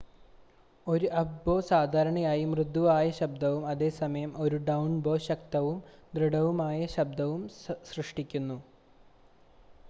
ഒരു അപ്പ്-ബോ സാധാരണയായി മൃദുവായ ശബ്ദവും അതേസമയം ഒരു ഡൗൺ-ബോ ശക്തവും ദൃഢവുമായ ശബ്ദവും സൃഷ്ടിക്കുന്നു